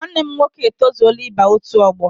Nwanne m nwoke etozuola ịba otu ọgbọ.